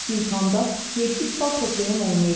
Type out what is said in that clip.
İmtahanda 700 bal toplayan olmayıb.